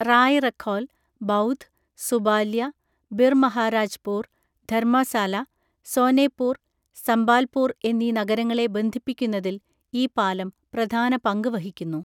റായ്റഖോൽ, ബൗധ്, സുബാല്യ, ബിർമഹാരാജ്പൂർ, ധർമാസാല, സോനെപൂർ, സംബാൽപൂർ എന്നീ നഗരങ്ങളെ ബന്ധിപ്പിക്കുന്നതിൽ ഈ പാലം പ്രധാന പങ്ക് വഹിക്കുന്നു.